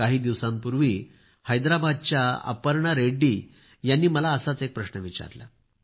काही दिवसांपूर्वी हैदराबादच्या अपर्णा रेड्डी यांनी मला असाच एक प्रश्न विचारला